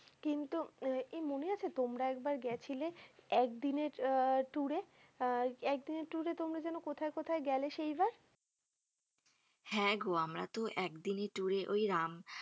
এই মনে আছে তোমরা একবার গিয়েছিলে একদিনের আহ tour এ আহ একদিনের tour এ তোমরা যেন কোথায় কোথায় গেলে সেইবার। হ্যা গো আমরা তো একদিনের tour এ ওই রাম~